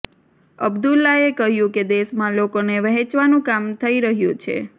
અબ્દુલ્લાએ કહ્યું કે દેશમાં લોકોને વહેંચવાનું કામ થઇ રહ્યું છે